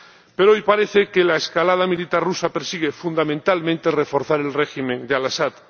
Pero hoy parece que la escalada militar rusa persigue fundamentalmente reforzar el régimen de Al Asad.